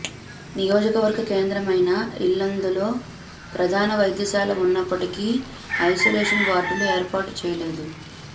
నియోజకవర్గ కేంద్రమైన ఇల్లందులో ప్రధాన వైద్యశాల ఉన్నప్పటికి ఐసోలేషన్ వార్డులు ఏర్పాటు చేయలేదు